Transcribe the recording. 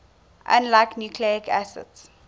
unlike nucleic acids